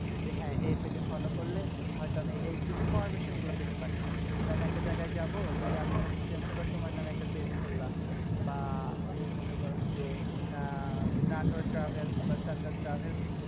যে হ্যাঁ এই page এ follow করলে হয়তো আমি এই information গুলো পেতে পারি। যে আমি একটা জায়গায় যাবো। যদি আমি হচ্ছে মনে করো তোমার একটা page খুললা বা এই মনে করো যে, আহ নাটোর travels বা travels